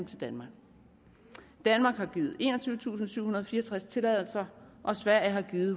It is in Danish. til danmark danmark har givet enogtyvetusinde og syvhundrede og fireogtreds tilladelser og sverige har givet